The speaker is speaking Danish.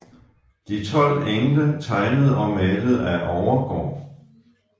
De 12 engle tegnet og malet af Overgaard